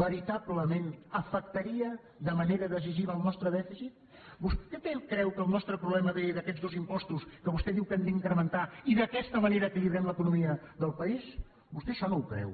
veritablement afectaria de manera decisiva el nostre dèficit vostè creu que el nostre problema ve d’aquests dos impostos que vostè diu que hem d’incrementar i d’aquesta manera equilibrem l’economia del país vostè això no ho creu